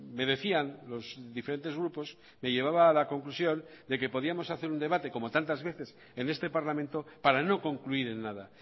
me decían los diferentes grupos me llevaba a la conclusión de que podíamos hacer un debate como tantas veces en este parlamento para no concluir en nada